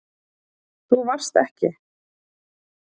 Þú varst ekki.